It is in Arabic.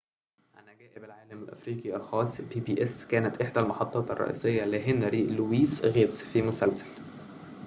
كانت إحدى المحطات الرئيسية لهنري لويس غيتس فى مسلسل pbs عن عجائب العالم الأفريقي الخاصة